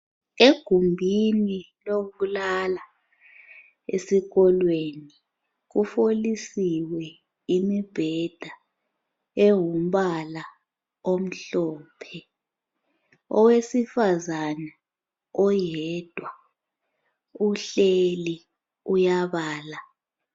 Egumbini lokulala esikolweni kufolisiwe imibheda engumbala omhlophe. Owesifazane oyedwa uhleli uyabala.